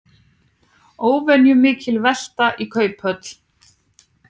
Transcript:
Óvenjumikil velta í Kauphöll